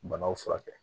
Banaw furakɛ